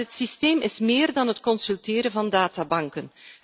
Maar het systeem is meer dan het consulteren van databanken.